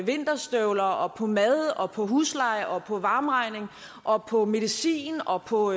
vinterstøvler og på mad og på husleje og på varme og på medicin og på